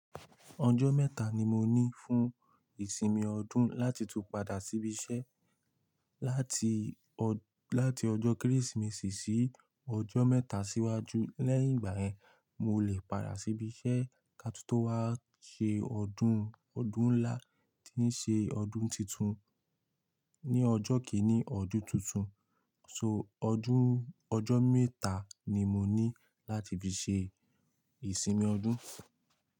Ọjọ́ mẹ́ta ni mo ní fún ìsinmi ọdún láti tún padà síbi iṣẹ́. Láti, láti ọjọ́ Kérésìmesì sí ọjọ́ mẹ́ta síwájú. Lẹ́yìn ìgbà yẹn, mo lè padà sí ibi iṣẹ́ katútó wá ṣe ọdún. Ọdún ńlá ti ń ṣe ọdún titun. Ni ọjọ́ kìíní ọdún tuntun. So ọdún, ọjọ́ mẹ́ta ni mo ní láti fi ṣe ìsinmi ọdún.